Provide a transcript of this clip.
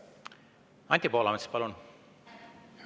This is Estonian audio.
Anti Poolamets, palun!